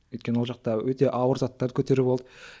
өйткені ол жақты өте ауыр заттарды көтеру болды